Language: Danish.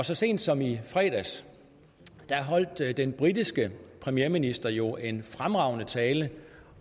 så sent som i fredags holdt den britiske premierminister jo en fremragende tale